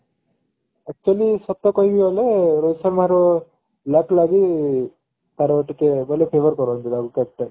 actually ସତ କହିବାକୁ ଗଲେ ରୋହିତ ଶର୍ମାର luck ଲାଗି ତାର ଟିକେ ବୋଲେ favour କରନ୍ତି world cup ପାଇଁ